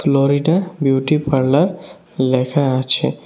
লড়িটা beauty parlour লেখা আছে।